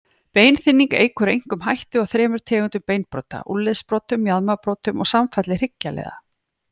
Beinþynning eykur einkum hættu á þremur tegundum beinbrota, úlnliðsbrotum, mjaðmarbrotum og samfalli hryggjarliða.